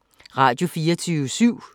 Radio24syv